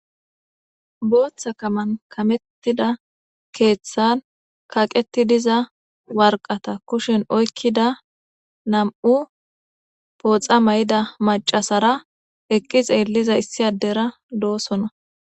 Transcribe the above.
booththa kaman kamettida keeththan kaqeti diza warqata kushen oykkida nam7u pooxa may7ida macasara eqqixeelliza issi addera doosona